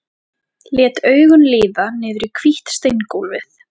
Lét augun líða niður í hvítt steingólfið.